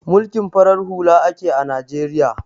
Mulkin farar hula ake a Najeriya